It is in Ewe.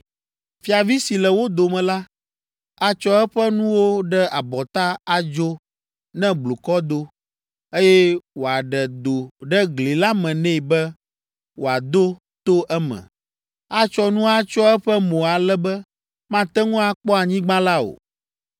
“Fiavi si le wo dome la, atsɔ eƒe nuwo ɖe abɔta adzo ne blukɔ do, eye woaɖe do ɖe gli la me nɛ be wòado to eme. Atsɔ nu atsyɔ eƒe mo ale be mate ŋu akpɔ anyigba la o.